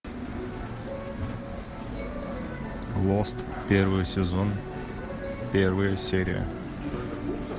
лост первый сезон первая серия